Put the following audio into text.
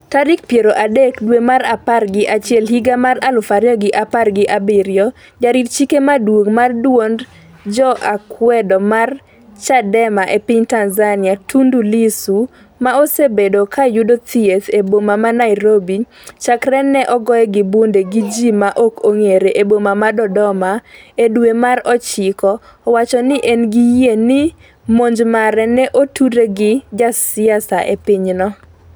tarik piero adek dwe mar apar gi achiel higa mar aluf ariyo gi apar gi abiriyo Jarit chike maduong' mar duond joakwedo mar Chadema e piny Tanzania, Tundu Lissu, ma osebedo ka yudo thieth e boma ma Nairobi chakre ne ogoye gi bunde gi ji ma ok ong'ere e boma ma Dodoma e dwe mar ochiko, owacho ni en gi yie ni monj mare ne otudre gi siasa e pinyno.